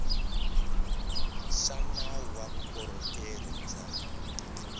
xa nawu wa vukorhokeri bya